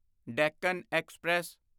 Deccan express